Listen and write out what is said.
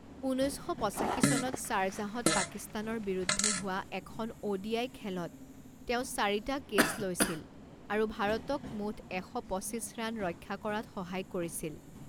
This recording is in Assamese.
ঊনৈছ শ পঁচাশী চনত শ্বাৰজাহত পাকিস্তানৰ বিৰুদ্ধে হোৱা এখন অ'ডিআই খেলত তেওঁ চাৰিটা কেচ লৈছিল আৰু ভাৰতক মুঠ এশ পঁচিছ ৰান ৰক্ষা কৰাত সহায় কৰিছিল।